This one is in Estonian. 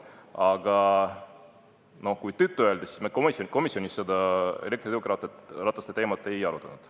Aga kui tõtt öelda, siis me komisjonis elektritõukerataste teemat ei arutanud.